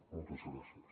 moltes gràcies